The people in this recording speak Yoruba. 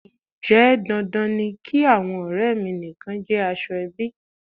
Ǹjẹ́ dandan ni kí àwọn ọrẹ mi nìkan jẹ́ aṣọ - ẹbí?